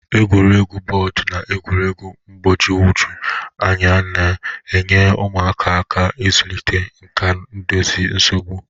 Egwuregwu bọọdụ na egwuregwu mgbagwoju anya na-enyere ụmụaka aka ịzụlite nkà idozi nsogbu.